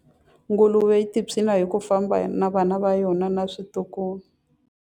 Nguluve yi tiphina hi ku famba na vana va yona na vatukulu.